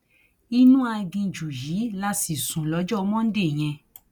inú aginjù yìí la sì sùn lọjọ monde yẹn